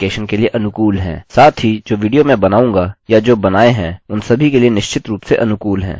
साथ ही जो विडियो मैं बनाऊँगा या जो बनाए हैं उन सभी के लिए निश्चित रूप से अनुकूल है